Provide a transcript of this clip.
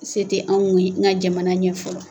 Se tɛ anw ye n ka jamana ɲɛ fɔlɔ.